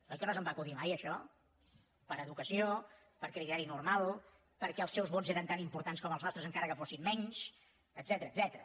oi que no se’m va acudir mai això per educació per criteri normal perquè els seus vots eren tan importants com els nostres encara que fossin menys etcètera